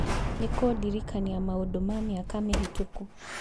nĩ kũndirikania maũndũ ma mĩaka mĩhĩtũku